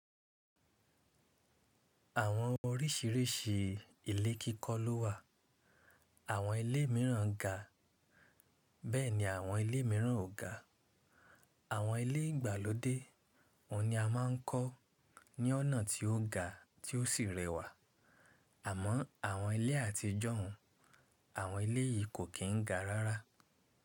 Àwọn oríṣìíríṣìí ilé kíkọ́ ló wà: Àwọn ilé míràn ga, bẹ́ẹ̀ ni àwọn ilé míràn ò ga. Àwọn ilé ìgbàlódé òun ni a máa ń kọ́ ní ọ̀nà tí ó ga tí ó sì rẹwà, àmọ́ àwọn ilé àtijọ́ òun, àwọn ilé yìí kò kín ga rárá.